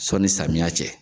Sanni samiya cɛ